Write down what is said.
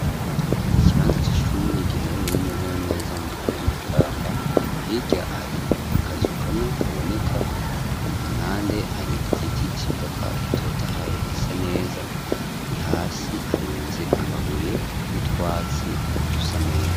Ikibanza c'ishure giherereye neza na neza mu ntara y'a makamba, hirya hari akazukamwe kaboneka ,impande hari igiti civoka gitotahaye gisa neza ,hasi harunze amabuye n'utwatsi dusa neza